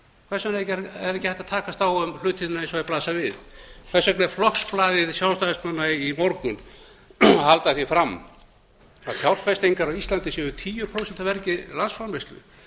hvers vegna er ekki hægt að takast á við hlutina eins og þeir blasa við hvers vegna er flokksblað sjálfstæðismanna í morgun að halda því fram að fjárfestingar á íslandi séu tíu prósent af vergri landsframleiðslu